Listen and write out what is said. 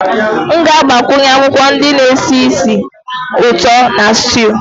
M ga-agbakwunye akwụkwọ ndị na-esi ísì ụtọ na stew